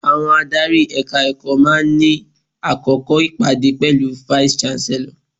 Àwọn adárí Ẹ̀ka-ẹ̀kọ́ máa ń ní àkókò ìpàdé pẹ̀lú vice-Chancellor.